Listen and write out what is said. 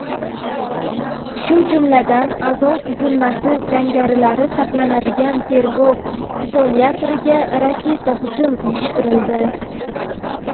shu jumladan "Azov" tuzilmasi jangarilari saqlanadigan tergov izolyatoriga raketa hujum uyushtirildi.